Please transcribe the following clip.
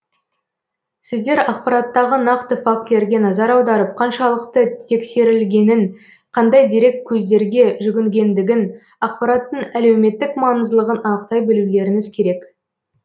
сіздер ақпараттағы нақты фактілерге назар аударып қаншалықты тексерілгенін қандай дереккөздерге жүгінгендігін ақпараттың әлеуметтік маңыздылығын анықтай білулеріңіз керек